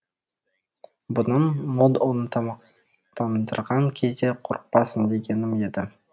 бұным мод оны тамақтандырған кезде қорықпасын дегенім еді